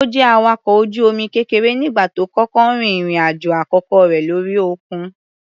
Ó jẹ́ awakọ̀ ojú omi kékeré nígbà tó kọ́kọ́ rin ìrìn-àjò àkọ́kọ́ rẹ̀ lórí òkun.